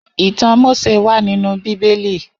Itàn Mósé wà ninú Bibéli